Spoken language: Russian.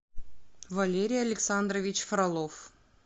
валерий александрович фролов